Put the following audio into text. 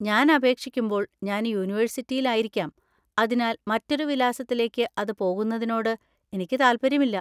ഞാൻ അപേക്ഷിക്കുമ്പോൾ ഞാൻ യൂണിവേഴ്സിറ്റിയിൽ ആയിരിക്കാം, അതിനാൽ മറ്റൊരു വിലാസത്തിലേക്ക് അത് പോകുന്നതിനോട് എനിക്ക് താല്പര്യമില്ല.